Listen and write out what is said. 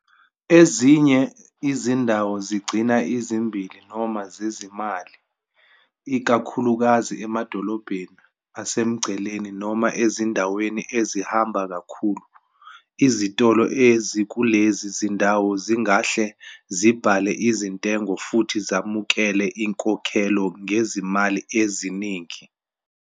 Ezinye izindawo zigcina ezimbili noma zezimali, ikakhulukazi emadolobheni asemngceleni noma ezindaweni ezihamba kakhulu. Izitolo ezikulezi zindawo zingahle zibhale izintengo futhi zamukele inkokhelo ngezimali eziningi.